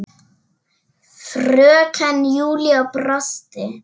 Fröken Júlía brosti.